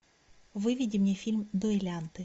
выведи мне фильм дуэлянты